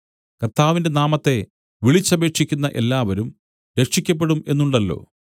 കർത്താവിന്റെ നാമത്തെ വിളിച്ചപേക്ഷിക്കുന്ന എല്ലാവരും രക്ഷിയ്ക്കപ്പെടും എന്നുണ്ടല്ലോ